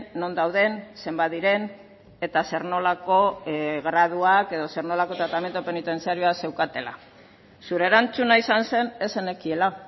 non dauden zenbat diren eta zer nolako graduak edo zer nolako tratamendu penitentziarioa zeukatela zure erantzuna izan zen ez zenekiela